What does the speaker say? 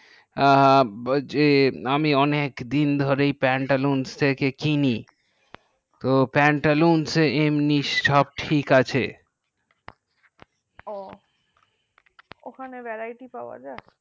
যে আমি অনেক দিন ধরে pantaloon কিনি pantaloon সবকিছু ঠিকআছে ও ওখানে vairty পাওয়া যায়